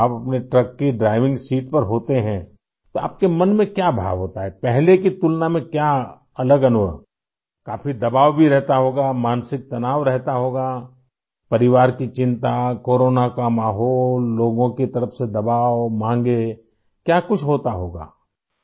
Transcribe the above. جب آپ اپنے ٹرک کی ڈرائیونگ سیٹ پر ہوتے ہیں تو ، آپ کے دل میں کیا جذبہ ہوتا ہے؟ پہلے سے مختلف تجربات کیا ہیں؟ کافی دباؤ بھی رہتا ہوگا؟ ذہنی دباؤ بھی رہتا ہوگا؟ خاندان کی فکر ، کورونا کا ماحول ، لوگوں کی طرف سے دباؤ ، مانگ ، کیا کچھ ہوتا ہوگا؟